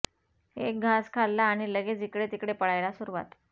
एक घास खाल्ला आणि लगेच इकडे तिकडे पळायला सुरूवात